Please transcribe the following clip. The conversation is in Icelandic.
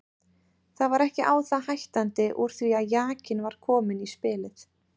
Það var ekki á það hættandi úr því að jakinn var kominn í spilið.